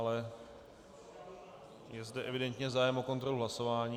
Ale je zde evidentně zájem o kontrolu hlasování.